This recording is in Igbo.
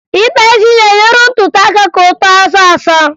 Ịkpa isi na-enyere ntutu aka ka o too ọsọọsọ